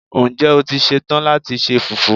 Ǹjẹ́ o ti ṣe tán láti se Fùfú?